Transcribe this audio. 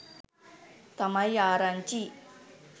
තමයි ආරංචි.